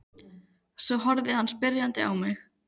Svo horfði hann spyrjandi á mig.